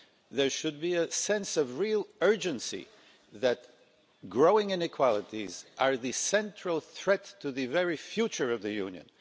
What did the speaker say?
There should be a sense of real urgency that growing inequalities are the central threat to the very future of the Union.